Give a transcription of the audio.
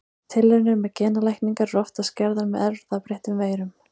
Tilraunir með genalækningar eru oftast gerðar með erfðabreyttum veirum.